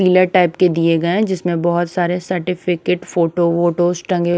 नीले टाइप के दिए गए हैं जिसमें बहुत सारे सर्टिफिकेट फोटो वोटो टंगे--